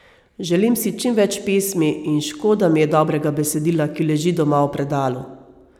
Želim si čim več pesmi in škoda mi je dobrega besedila, ki leži doma v predalu.